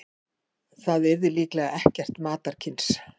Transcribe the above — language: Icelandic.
Það yrði líklega ekkert matarkyns.